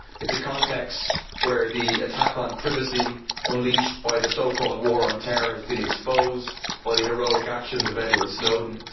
It is a context where the attack on privacy unleashed by the so called war on terror has been exposed by the heroic action of Edward Snowden.